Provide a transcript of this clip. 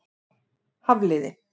Hafliði